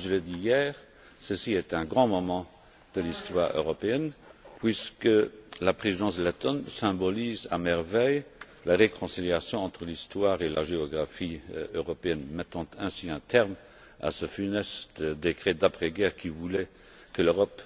Comme je l'ai dit hier, ceci est un grand moment de l'histoire européenne puisque la Présidence lettone symbolise à merveille la réconciliation entre l'histoire et la géographie européennes, mettant ainsi un terme à ce funeste décret d'après guerre qui voulait que l'Europe